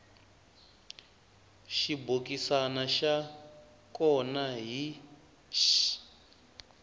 xibokisana xa kona hi x